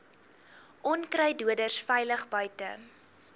onkruiddoders veilig buite